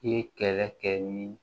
I ye kɛlɛ kɛ ni